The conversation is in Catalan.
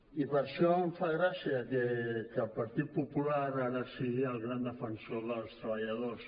i per això em fa gràcia que el partit popular ara sigui el gran defensor dels treballadors